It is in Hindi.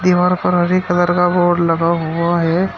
दीवार पर हरे कलर का बोर्ड लगा हुआ है।